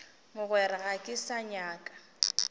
mogwera ga ke sa nyaka